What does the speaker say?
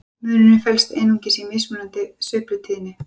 munurinn felst einungis í mismunandi sveiflutíðni